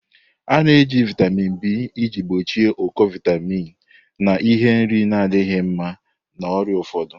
A na-eji vitamin B iji gbochie ụkọ vitamin n'ihi nri na-adịghị mma, ọrịa ụfọdụ.